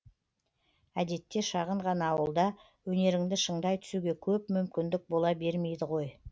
әдетте шағын ғана ауылда өнеріңді шыңдай түсуге көп мүмкіндік бола бермейді ғой